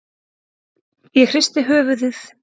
Ég hristi höfuðið.